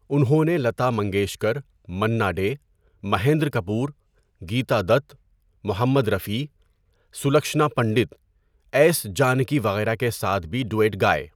انہوں نے لتا منگیشکر، منا ڈے، مہندر کپور، گیتا دت، محمد رفیع، سلکھشنا پنڈت، ایس جانکی وغیرہ کے ساتھ بھی ڈوئٹ گائے۔